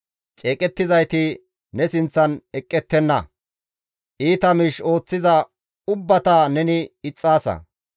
Ceeqettizayti ne sinththan eqqettenna; iita miish ooththiza ubbata neni ixxaasa.